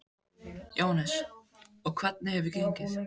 Jóhannes: Og hvernig hefur gengið?